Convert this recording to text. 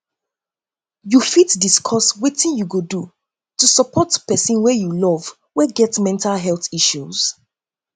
you fit discuss wetin you go do to support pesin wey you love wey get mental health issues